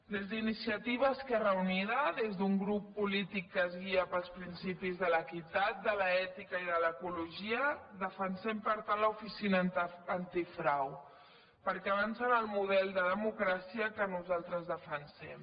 des d’iniciativa esquerra unida des d’un grup polític que es guia pels principis de l’equitat de l’ètica i de l’ecologia defensem per tant l’oficina antifrau perquè avança en el model de democràcia que nosaltres defensem